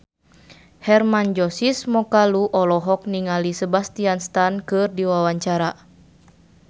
Hermann Josis Mokalu olohok ningali Sebastian Stan keur diwawancara